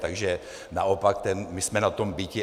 Takže naopak my jsme na tom biti.